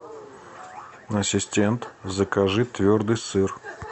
ассистент закажи твердый сыр